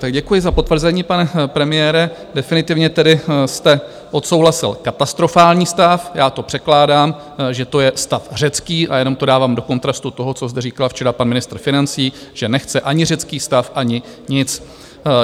Tak děkuji za potvrzení, pane premiére, definitivně tedy jste odsouhlasil katastrofální stav, já to překládám, že to je stav řecký, a jenom to dávám do kontrastu toho, co zde říkal včera pan ministr financí, že nechce ani řecký stav, ani nic.